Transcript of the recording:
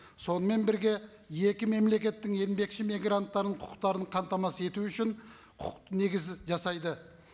сонымен бірге екі мемлекеттің еңбекші мигранттарының құқықтарын қамтамасыз ету үшін құқықтық негіз жасайды